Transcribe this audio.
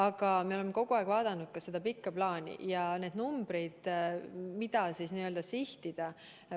Aga me oleme kogu aeg vaadanud ka seda pikka plaani ja neid numbreid, mida sihtida.